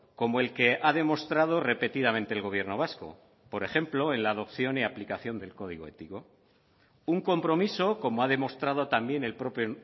como el que ha demostrado repetidamente el gobierno vasco por ejemplo en la adopción y aplicación del código ético un compromiso como ha demostrado también el propio